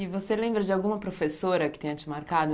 E você lembra de alguma professora que tenha te marcado?